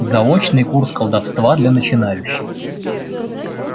заочный курс колдовства для начинающих